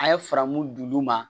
A' ye faramu d'olu ma